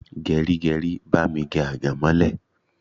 Geri geri, bami gé agemole!